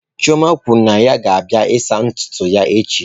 Chioma kwuru na ya ga-abịa saa ntutu ya echi.